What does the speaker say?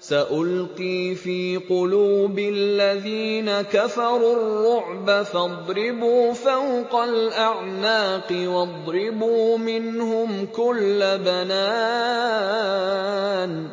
سَأُلْقِي فِي قُلُوبِ الَّذِينَ كَفَرُوا الرُّعْبَ فَاضْرِبُوا فَوْقَ الْأَعْنَاقِ وَاضْرِبُوا مِنْهُمْ كُلَّ بَنَانٍ